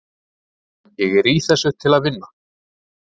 Ég er í þessu til að vinna.